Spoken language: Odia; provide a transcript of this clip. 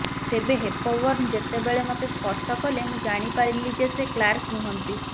ତେବେ ହେପବର୍ନ ଯେତେବେଳେ ମୋତେ ସ୍ପର୍ଶ କଲେ ମୁଁ ଜାଣିପାରିଲି ଯେ ସେ କ୍ଲାର୍କ ନୁହନ୍ତି